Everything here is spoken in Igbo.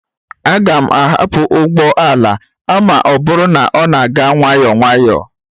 Aga m ahapụ ụgbọ ala a ma ọ bụrụ na ọ na-aga nwayọọ nwayọọ